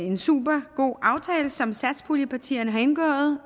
en supergod aftale som satspuljepartierne har indgået